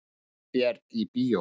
Ég býð þér í bíó.